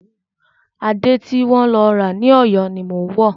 Adé ti wọ́n lọ ra ní Ọ̀yọ́ ni mò ń wò.